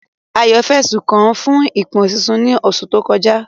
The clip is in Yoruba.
Ayo fẹ̀sùn kàn án fún ìfòpinsí ní oṣù tó kọjá.